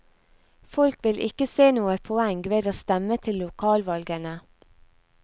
Folk vil ikke se noe poeng ved å stemme til lokalvalgene.